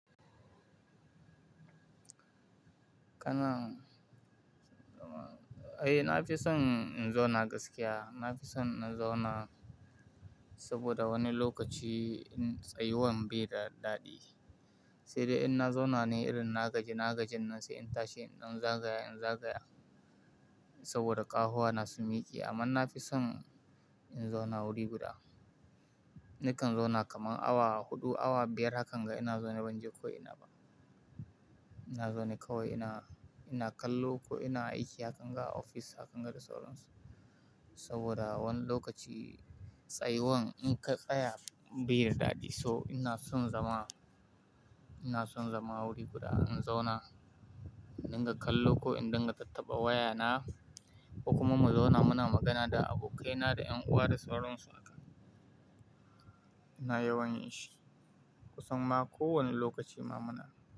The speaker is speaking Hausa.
Kana, ai na fi son in zauna gaskiya. Na fi son na zauna, saboda wani lokaci, tsayuwan bai da daɗi. Sai dai in na zauna ne irin na gaji na gajin nan sai in tashi in dan zagaya in zagaya. Saboda ƙawa wuna sun miƙe amma na fi son, in zauna wuri guda. Nakan zauna kaman awa huɗu awa biyar hakan ga ina zaune ban je ko ina ba. Ina zaune kawai ina, ina kallo ko ina aiki hakan ga a ofis hakan ga da sauransu. Saboda wani lokaci, tsayu wan in ka tsaya bai da daɗi. So ina son zama, ina son zama wuri guda in zauna. In dinga kallo ko in dinga tattaɓa waya na. Kuma mu zauna muna magana da abokaina da ƴan uwa da sauransu haka. Ina yawan yin shi, Kusan ma ko wani lokaci ma muna.